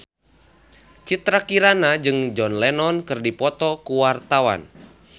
Citra Kirana jeung John Lennon keur dipoto ku wartawan